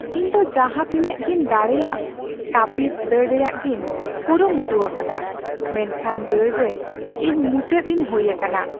ᱤᱧ ᱫᱚ ᱡᱟᱦᱟᱛᱤᱱᱟᱹᱜᱤᱧ ᱫᱟᱲᱮᱭᱟᱜ ᱛᱟᱹᱯᱤᱥ ᱫᱟᱹᱲ ᱨᱮᱭᱟᱜᱤᱧ ᱠᱩᱨᱩᱢᱩᱴᱩᱣᱟᱠᱟᱫᱟ ᱢᱮᱱᱠᱷᱟᱱ ᱫᱟᱹᱲ ᱨᱮ ᱤᱧ ᱢᱩᱪᱟᱹᱫᱤᱧ ᱦᱩᱭ ᱟᱠᱟᱱᱟ ᱾